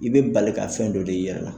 I bɛ bali ka fɛn dɔ de y'i yɛrɛ la.